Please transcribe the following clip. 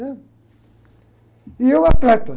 né? E eu, atleta.